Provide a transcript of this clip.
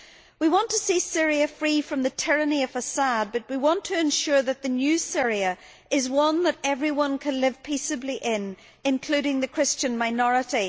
We want to see Syria free from the tyranny of al Assad but we want to ensure that the new Syria is one where everyone can live peaceably, including the Christian minority.